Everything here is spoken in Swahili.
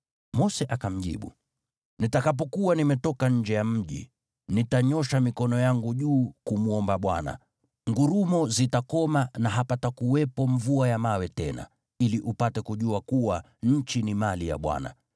Mose akamjibu, “Nitakapokuwa nimetoka nje ya mji, nitanyoosha mikono yangu juu kumwomba Bwana . Ngurumo zitakoma na hapatakuwepo mvua ya mawe tena, ili upate kujua kuwa, nchi ni mali ya Bwana .